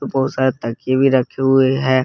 बहुत सारे तकिए भी रखे हुए हैं।